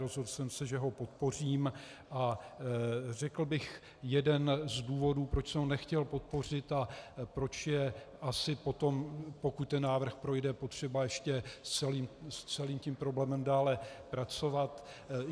Rozhodl jsem se, že ho podpořím, a řekl bych jeden z důvodů, proč jsem ho nechtěl podpořit a proč je asi potom, pokud ten návrh projde, potřeba ještě s celým tím problémem dále pracovat.